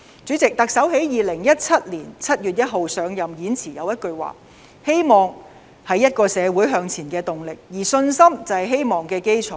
主席，特首在2017年7月1日上任時的演辭有一句話："希望是一個社會向前的動力，而信心就是希望的基礎"。